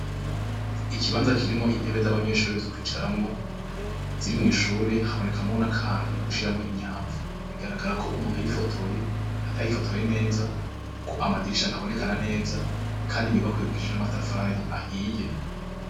Ikibanza kirimwo intebe z'abanyeshure zo kwicaramwo ,ziri mw' ishure habonekamwo n' akantu ko gushiramwo imyamvu, bigaragara ko umuntu yayifotoye atayifotoye neza ,kuko amadirisha ntabonekana neza, kandi inyubakwa yubakishije n'amatafari ahiye.